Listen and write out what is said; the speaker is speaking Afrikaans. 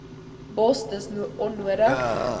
bos dis onnodig